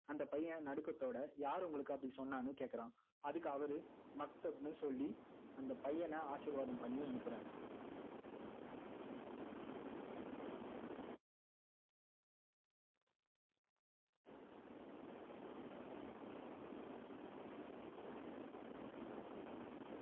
அந்த பைஃப்யன் நடுக்கத்தோட யாரு உங்களுக்கு அப்படி சொன்னான்னு கேட்கிறான் அதுக்கு அவரு மக்தப்ன்னு சொல்லி அந்த பையன ஆசிர்வாதம் பண்ணி அனுப்புறாரு